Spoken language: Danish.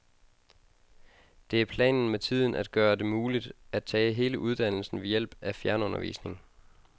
Det er planen med tiden at gøre det muligt, at tage hele uddannelsen ved hjælp af fjernundervisning.